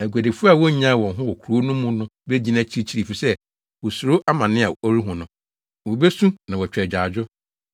Aguadifo a wonyaa wɔn ho wɔ kurow no mu no begyina akyirikyiri efisɛ wosuro amane a ɔrehu no. Wobesu na wɔatwa agyaadwo,